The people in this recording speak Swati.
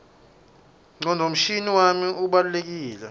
ngcondvomshina wami ubalulekile